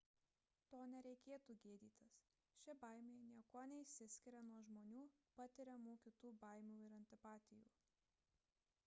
to nereikėtų gėdytis ši baimė niekuo nesiskiria nuo žmonių patiriamų kitų baimių ir antipatijų